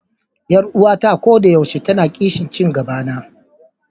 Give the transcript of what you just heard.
Yar uwata a koda yaushe tana kishin ci gabana.